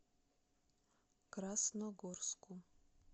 красногорску